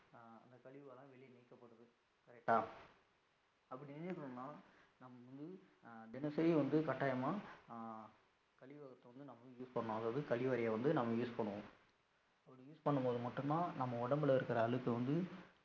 Correct ஆ? அப்படி நீக்கணும்ன்னா நம்ம வந்து தினசரி வந்து கட்டாயமா ஆஹ் கழிவகத்தை வந்து நம்ம use பண்ணணும், அதாவது கழிவறையை வந்து நம்ம use பண்ணுவோம். அப்படி use பண்ணும் போது மட்டும்தான் நம்ம உடம்புல இருக்கிற அழுக்கு வந்து